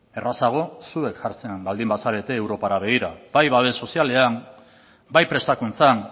errazago zuek jartzen baldin bazarete europara begira bai babes sozialean bai prestakuntzan